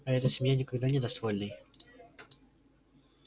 а эта семья никогда не даст вольной